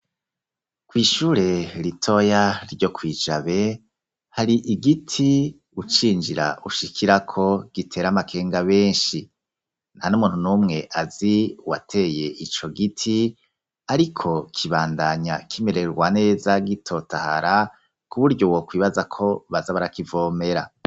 kw'ishure ritoya ryo kw'i Jabe, hari igiti, ucinjira ushikirako, gitera amakenga benshi; nta n'umuntu n'umwe azi uwateye ico giti, ariko, kibandanya kimererwa neza, gitotahara, ku buryo wokwibaza ko baza barakivomera.